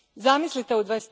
Zamislite, u